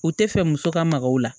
U tɛ fɛ muso ka maga o la